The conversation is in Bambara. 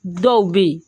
Dɔw bɛ yen